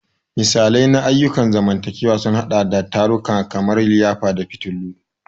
Misalai na ayyukan zamantakewa sun haɗa da tarukan kamar liyafa da fitillu.